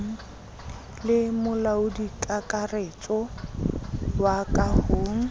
le molaodikakaretso wa ka ho